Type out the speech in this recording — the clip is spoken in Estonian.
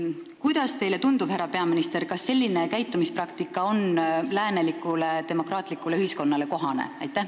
Kuidas teile tundub, härra peaminister, kas selline käitumispraktika on läänelikule demokraatlikule ühiskonnale kohane?